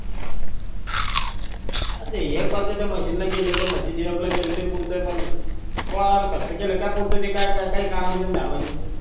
अरे एक